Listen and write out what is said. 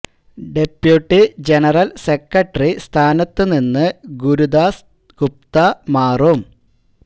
deputy general secretary സ്ഥാനത്തു നിന്ന് ഗുരുദാസ് ദാസ് ഗുപ്ത മാറും